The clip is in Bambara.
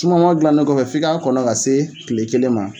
Sumanma dilanen kɔfɛ, f'i k'a kɔnɔ ka se tile kelen ma.